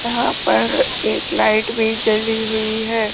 यहां पर एक लाइट भी जली हुई है।